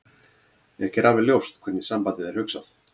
Ekki er alveg ljóst hvernig sambandið er hugsað.